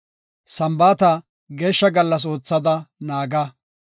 “Sambaata Geeshsha gallas oothada naaga.